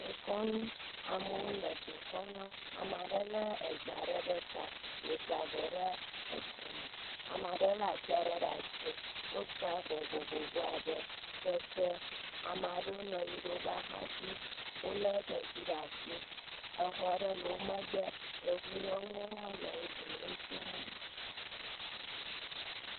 Dekɔnu, amewo le dekɔnua ame aɖe lé eze aɖe ɖe ta, wòsa avɔ ɖe akɔme, ame aɖe lé ati aɖe ɖe asi wosa avɔ vovovovo abe, kete, ame aɖewo nɔ anyi ɖe woƒe axa dzi wolé xexi ɖe asi, exɔ aɖewo le wo megbe, yevunyɔnuwo hã le wo dome ŋutsuwo hã li.